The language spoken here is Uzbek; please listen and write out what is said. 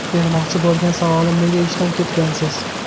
Bermoqchi bo‘lgan savolim nega ishdan ketgansiz?